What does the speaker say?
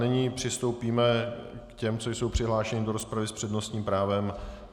Nyní přistoupíme k těm, co jsou přihlášeni do rozpravy s přednostním právem.